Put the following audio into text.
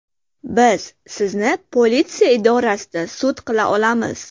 Biz sizni politsiya idorasida sud qila olamiz”.